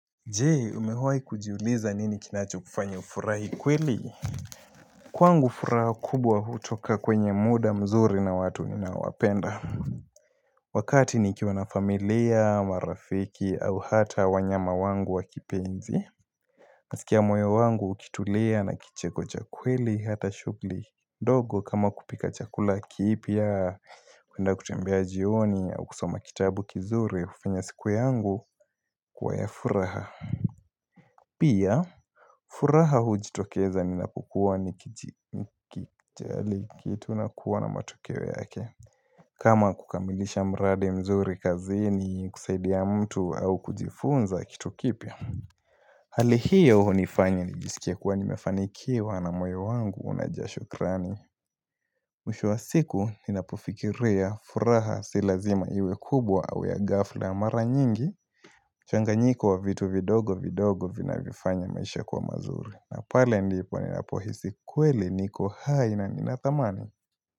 Je, umewahi kujiuliza nini kinachokufanya ufurahi kweli? Kwangu furaha kubwa hutoka kwenye muda mzuri na watu ninaowapenda Wakati nikiwa na familia marafiki au hata wanyama wangu wakipenzi Nasikia mwoyo wangu ukitulia na kicheko cha kweli hata shughuli dogo kama kupika chakula kipya kuenda kutembea jioni au kusoma kitabu kizuri hufanya siku yangu kuwa ya furaha Pia, furaha hujitokeza ninapokuwa nikijali kitu na kuwa na matokeo yake kama kukamilisha mradi mzuri kazini, kusaidia mtu au kujifunza kitu kipya Hali hiyo hunifanya nijisikie kuwa nimefanikiwa na moyo wangu unajaa shukrani Mwisho wa siku ninapofikiria furaha si lazima iwe kubwa au ya ghafla. Mara nyingi Changanyiko ya vitu vidogo vidogo vinavyofanya maisha ya kuwa mazuri. Na pale ndipo ninapohisi kweli niko hai na nina thamani.